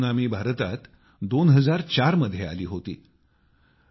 अशीच एक सुनामी भारतात 2004 मध्ये आली होती